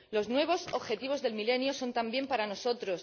Los nuevos objetivos del milenio son también para nosotros.